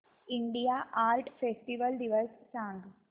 India art festival दिवस सांग